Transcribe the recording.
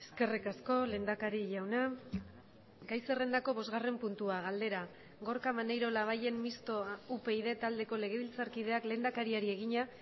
eskerrik asko lehendakari jauna gai zerrendako bosgarren puntua galdera gorka maneiro labayen mistoa upyd taldeko legebiltzarkideak lehendakariari egina